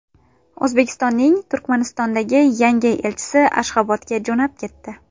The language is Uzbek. O‘zbekistonning Turkmanistondagi yangi elchisi Ashxobodga jo‘nab ketdi.